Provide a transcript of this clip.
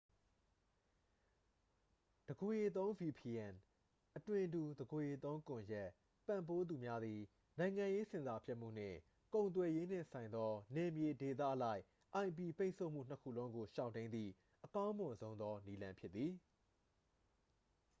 တစ်ကိုယ်ရေသုံး vpn အသွင်တူ တစ်ကိုယ်ရေသုံးကွန်ရက် ပံ့ပိုးသူများသည် နိုင်ငံရေးဆင်ဆာဖြတ်မှုနှင့် ကုန်သွယ်ရေးနှင့်ဆိုင်သော နယ်မြေဒေသအလိုက် ip ပိတ်ဆို့မှုနှစ်ခုလုံးကို ရှောင်တိမ်းသည့် အကောင်းမွန်ဆုံးသော နည်းလမ်းဖြစ်သည်။